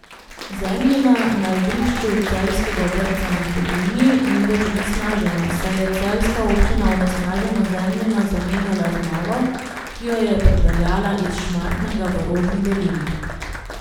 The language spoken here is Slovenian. Zemljina na igrišču celjskega vrtca na Hudinji ni več onesnažena, saj je celjska občina onesnaženo zemljino zamenjala z novo, ki jo je pripeljala iz Šmartnega v Rožni dolini.